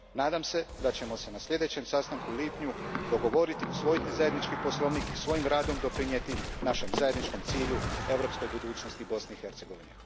Nadam se da ćemo se na sljedećem sastanku u lipnju dogovoriti, usvojiti zajednički poslovnik i svojim radom doprinijeti našem zajedničkom cilju europskoj budućnosti Bosne i Hercegovine.